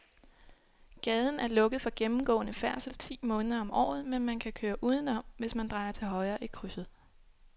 Gaden er lukket for gennemgående færdsel ti måneder om året, men man kan køre udenom, hvis man drejer til højre i krydset.